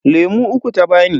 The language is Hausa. Lemu uku ta bani.